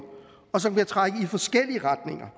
og som kan trække i forskellige retninger